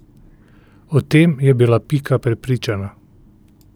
O tem je bila Pika prepričana.